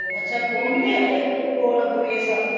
ਅੱਛਾ ਪਿੰਡ ਵੀ ਹੈਗੇ ਨੇ ਕੋਲ ਬੁੜੀਆਂ ਸਾਹਿਬ